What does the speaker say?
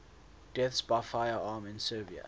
deaths by firearm in serbia